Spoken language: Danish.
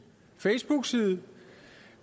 facebookside